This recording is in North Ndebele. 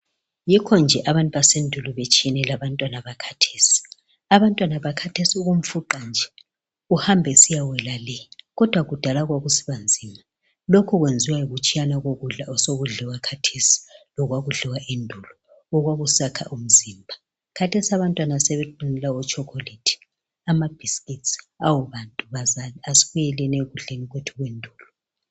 Yikho nje abantu basendulo betshiyene labantwana bakathesi. Abantwana bakathesi ukumfuqa nje uhamba esiyawela le kodwa kudala kwakusiba nzima. Lokhu kwenziwa yikutshiyana kokudla osokudliwa kathesi lolwakudliwa endulo okwaku sakha umzimba. Kathesi abantwana sebe dunula otshokholethi, amabhisikiti awu bantu bazali asibuyeleni ekudleni kwethu kwendulo.